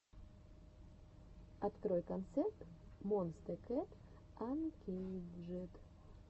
открой концерт монсте кэт анкейджед